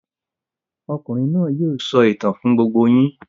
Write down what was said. Okùnrin náà yóò sọ ìtàn fún gbogbo yín.